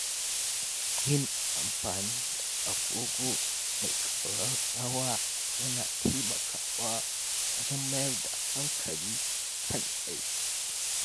Yin amfani da agogo mai ƙararrawa yana taimakawa wajen mayar da hankali kan aiki.